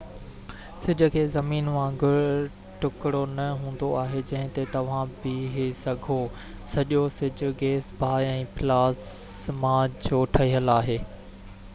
سج کي زمين وانگر ٽُڪرو نہ هوندو آهي جنهن تي توهان بيهہ سگهو سڄو سج گيس باه ۽ پلازما جو ٺهيل آهي